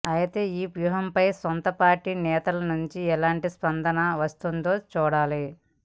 అయితే ఈ వ్యూహంపై సొంత పార్టీ నేతలనుంచి ఎలాంటి స్పందన వస్తుందో చూడాలి